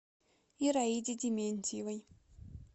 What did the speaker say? ираиде дементьевой